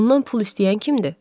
Ondan pul istəyən kimdir?